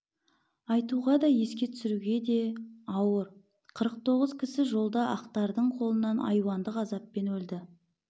айтуға да еске түсіруге де ауыр қырық тоғыз кісі жолда ақтардың қолынан айуандық азаппен өлді